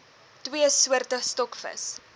twee soorte stokvis